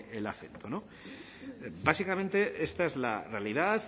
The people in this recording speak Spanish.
el acento básicamente esta es la realidad